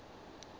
tswane